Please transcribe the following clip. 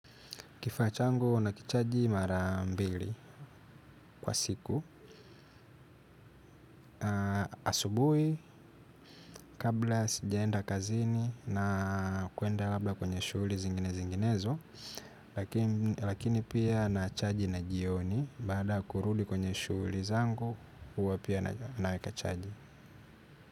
Kifaa changu na kichaji mara mbili kwa siku. Asubuhi kabla sijaenda kazini na kuenda labda kwenye shughuli zingine zinginezo ya lakini pia na chaji na jioni baada kurudi kwenye shughuli zangu uwo pia naweka chaji.